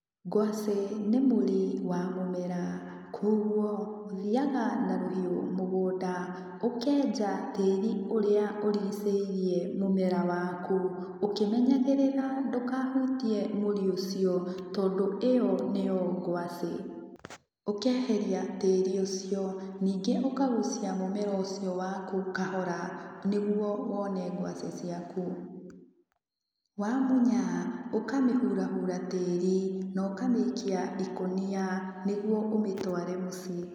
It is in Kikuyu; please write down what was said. Ngwaci nĩ mũri wa mũmera kũguo, ũthiaga na rũhiũ mũgũnda, ũkenja tĩri ũrĩa ũrigicĩirie mũmera waku, ũkĩmenyagĩrĩra ndũkahutie mũri ũcio, tondũ ĩyo nĩyo ngwacĩ. Ũkeheria tĩri ũcio, nyingĩ ũkagucia mũmera ũcio waku kahora, nĩguo wone ngwaci ciaku. Wamunya, ũkamĩhurahura tĩri, na ũkamĩikia ikũnia, nĩguo ũmĩtware mũciĩ.